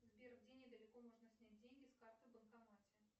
сбер где недалеко можно снять деньги с карты в банкомате